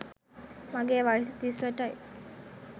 මගේ වයස තිස් අටයි.